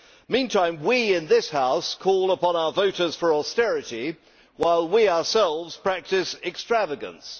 Meantime, we in this House call upon our voters for austerity, while we ourselves practice extravagance.